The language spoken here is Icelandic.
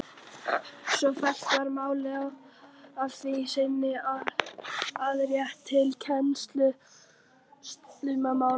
Svo fellt var málið að því sinni afgreitt til kennslumálaráðherra.